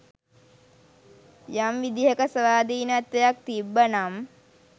යම් විදිහක ස්වාධීනත්වයක් තිබ්බ නම්